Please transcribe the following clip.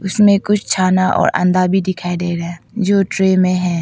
इसमें कुछ खाना और अंडा भी दिखाई दे रहा है जो ट्रे में है।